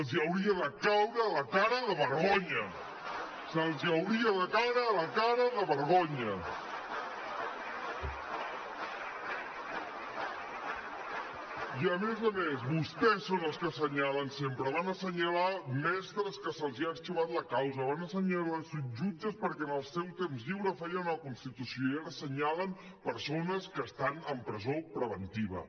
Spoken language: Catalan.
els hauria de caure la cara de vergonya els hauria de caure la cara de vergonya i a més a més vostès són els que assenyalen sempre van assenyalar mestres a qui se’ls ha arxivat la causa van assenyalar jutges perquè en el seu temps lliure feien una constitució i ara assenyalen persones que estan en presó preventiva